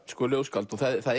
ljóðskáld og það